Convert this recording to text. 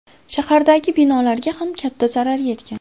Shahardagi binolarga ham katta zarar yetgan.